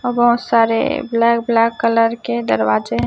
औ बहोत सारे ब्लैक ब्लैक कलर के दरवाजे--